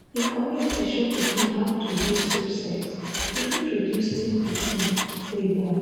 if community show pikin how to do safe sex e fit reduce teen pikin wey born.